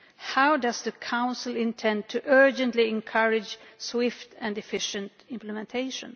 How does the Council intend to urgently encourage swift and efficient implementation?